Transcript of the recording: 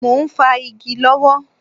Mo ń fá igi lọ́wọ́